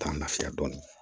Taa lafiya dɔɔnin